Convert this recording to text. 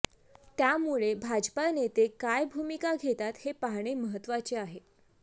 त्यामुळे भाजपा नेते काय भुमिका घेतात हे पाहणे महत्त्वाचे आहे